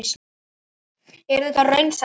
Er þetta raunsætt verð?